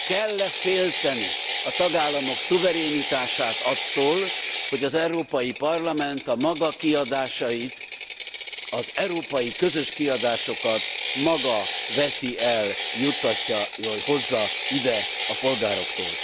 Kell e félteni a tagállamok szuverenitását attól, hogy az Európai Parlament a maga kiadásait, az európai közös kiadásokat maga veszi el, juttatja, hozza ide a polgároktól?